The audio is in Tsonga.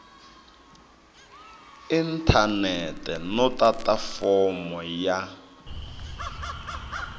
inthanete no tata fomo ya